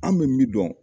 An bɛ min dɔn